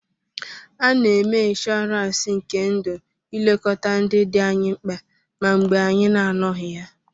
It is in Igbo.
A na-eme inshọransi nke ndụ ilekọta ndị dị anyị mkpa ma mgbe anyị na-anọghị ya.